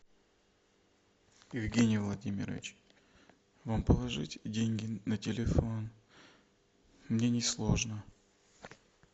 евгений владимирович вам положить деньги на телефон мне не сложно